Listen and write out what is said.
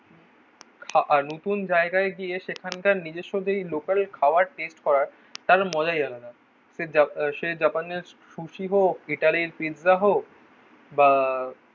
আহ নতুন জায়গায় গিয়ে সেখানকার নিজস্ব যেই লোকাল খাওয়ার টেস্ট করায় তাদের মজাই আলাদা. সে জাপা সে জাপানে সুশী হোক, ইটালির পিজ্জা হোক বা